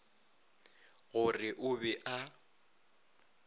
go re o be a